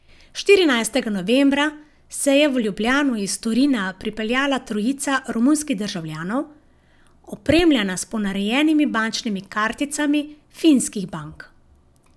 Štirinajstega novembra se je v Ljubljano iz Torina pripeljala trojica romunskih državljanov, opremljena s ponarejenimi bančnimi karticami finskih bank.